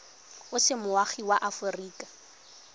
o se moagi wa aforika